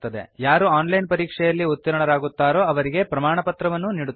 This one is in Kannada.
ಯಾರು ಆನ್ಲೈನ್ ಪರೀಕ್ಷೆಯಲ್ಲಿ ಉತ್ತೀರ್ಣರಾಗುತ್ತರೋ ಅವರಿಗೆ ಪ್ರಮಾಣಪತ್ರವನ್ನೂ ನೀಡುತ್ತದೆ